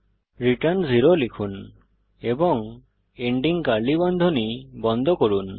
return 0 লিখুন এবং ending curly বন্ধনী বন্ধ করুন